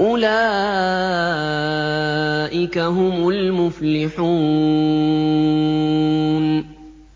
أُولَٰئِكَ هُمُ الْمُفْلِحُونَ